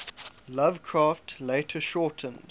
lovecraft later shortened